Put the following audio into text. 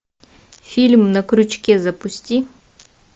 фильм на крючке запусти